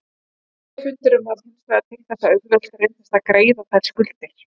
Olíufundurinn varð hinsvegar til þess að auðvelt reyndist að greiða þær skuldir.